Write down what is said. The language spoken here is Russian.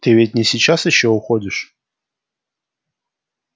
ты ведь не сейчас ещё уходишь